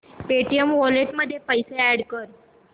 Paytm wallet मध्ये पैसे add कर